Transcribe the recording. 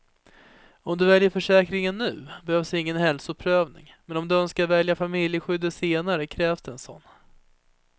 Om du väljer försäkringen nu behövs ingen hälsoprövning, men om du önskar välja till familjeskyddet senare krävs det en sådan.